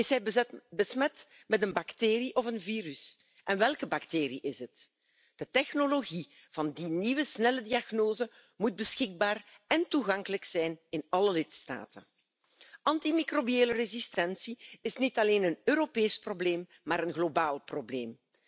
Is hij besmet met een bacterie of een virus en welke bacterie is het? De technologie van die nieuwe snelle diagnose moet beschikbaar en toegankelijk zijn in alle lidstaten. Antimicrobiële resistentie is niet alleen een Europees probleem, maar een mondiaal probleem.